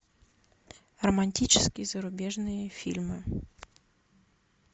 романтические зарубежные фильмы